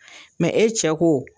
e cɛ ko